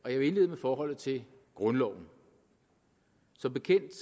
og jeg vil indlede med forholdet til grundloven som bekendt